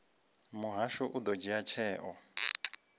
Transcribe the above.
muhasho u ḓo dzhia tsheo